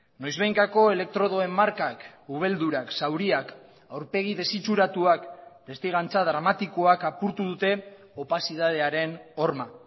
noizbehinkako elektrodoen markak ubeldurak zauriak aurpegi desitxuratuak testigantza dramatikoak apurtu dute opazidadearen horma